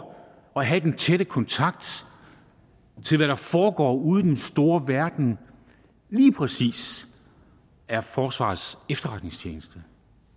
at have den tætte kontakt til hvad der foregår ude i den store verden lige præcis er forsvarets efterretningstjeneste